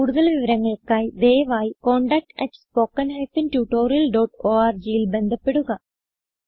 കുടുതൽ വിവരങ്ങൾക്കായി ദയവായി contactspoken tutorialorgൽ ബന്ധപ്പെടുക